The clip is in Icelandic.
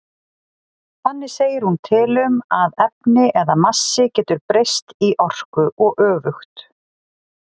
Þannig segir hún til um að efni eða massi getur breyst í orku og öfugt.